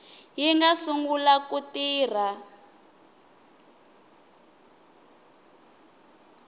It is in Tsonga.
yi nga sungula ku tirha